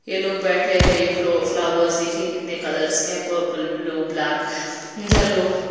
ये लोग बैठे हैं ये फ्लो फ्लावर्स देखिए कितने कलर्स के हैं पर्पल ब्लू ब्लैक येलो --